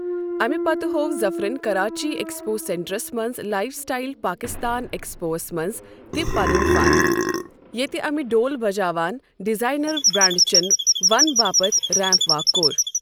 اَمہِ پتہٕ ہوو ظفرَن کراچی ایکسپو سینٹرَس منٛز لائف سٹایِل پاکستان ایکسپوَس منٛز تہِ پنٗن فن ، ییٚتہِ امہِ ڈھول بجاوان ڈیزایِنر برانڈ چین ون باپتھ ریمپ واک کوٚر۔